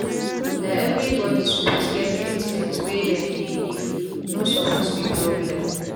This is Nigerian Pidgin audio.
na everi bodi suppose get treatment were dem dey leave no suppose be problem